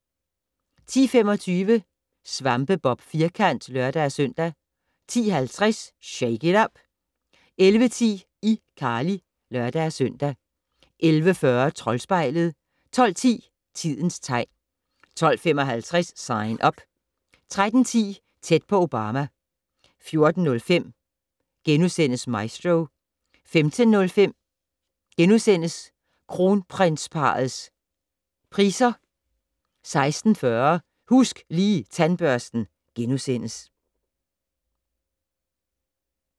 10:25: SvampeBob Firkant (lør-søn) 10:50: Shake it up! 11:10: iCarly (lør-søn) 11:40: Troldspejlet 12:10: Tidens tegn 12:55: Sign Up 13:10: Tæt på Obama 14:05: Maestro * 15:05: Kronprinsparrets Priser 2012 * 16:40: Husk Lige Tandbørsten *